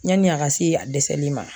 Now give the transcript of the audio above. Yani a ka se a dɛsɛli ma